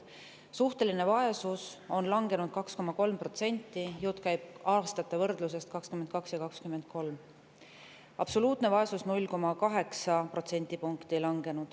Suhteline vaesus on langenud 2,3% – jutt käib aastate 2022 ja 2023 võrdlusest –, absoluutne vaesus on langenud 0,8 protsendipunkti.